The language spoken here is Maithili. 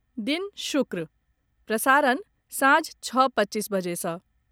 दिन शुक्र, प्रसारण सांझ छओ पच्चीस बजे सँ